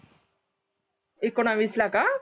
एकोणावीसला का